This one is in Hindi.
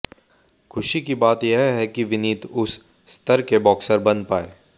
खुशी की बात यह है कि विनीत उस स्तर के बॉक्सर बन पाए